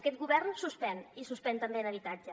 aquest govern suspèn i suspèn també en habitatge